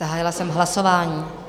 Zahájila jsem hlasování.